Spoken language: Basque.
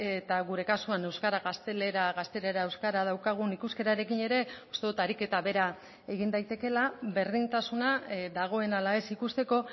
eta gure kasuan euskara gaztelera gaztelera euskara daukagun ikuskerarekin ere uste dut ariketa bera egin daitekeela berdintasuna dagoen ala ez ikusteko